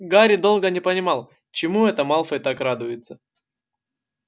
гарри долго не понимал чему это малфой так радуется